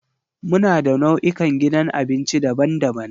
Muna da nau'ikan gidan abinci daban-daban.